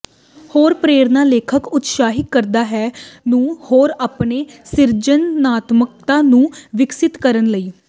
ਹੋਰ ਪ੍ਰੇਰਣਾ ਲੇਖਕ ਉਤਸ਼ਾਹਿਤ ਕਰਦਾ ਹੈ ਨੂੰ ਹੋਰ ਆਪਣੇ ਸਿਰਜਣਾਤਮਕਤਾ ਨੂੰ ਵਿਕਸਿਤ ਕਰਨ ਲਈ